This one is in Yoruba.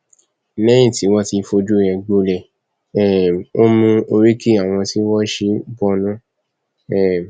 lẹyìn tí wọn ti fojú ẹ gbolẹ um ó mú oríki àwọn tí wọn ṣe é bọnu um